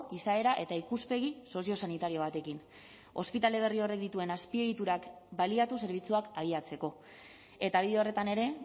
izaera eta ikuspegi soziosanitario batekin ospitale berri horrek dituen azpiegiturak baliatu zerbitzuak abiatzeko eta bide horretan ere